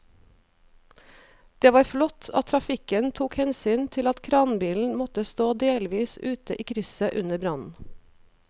Det var flott at trafikken tok hensyn til at kranbilen måtte stå delvis ute i krysset under brannen.